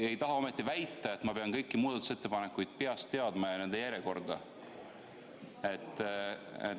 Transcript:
Te ei taha ometi väita, et ma pean kõiki muudatusettepanekuid ja nende järjekorda peast teadma?